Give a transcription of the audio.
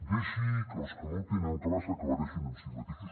deixi que els que no ho tenen clar s’aclareixin amb si mateixos